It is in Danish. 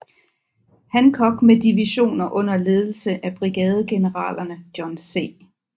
Hancock med divisioner under ledelse af brigadegeneralerne John C